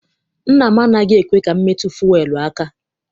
Nna m anaghị ekwe ka m metụ fuelu aka.